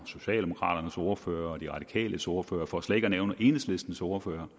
socialdemokraternes ordfører og de radikales ordfører for slet ikke at nævne enhedslistens ordfører